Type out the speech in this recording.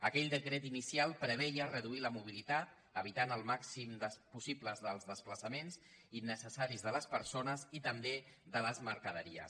aquell decret inicial preveia reduir la mobilitat evitant el màxim els possibles desplaça·ments innecessaris de les persones i també de les mer·caderies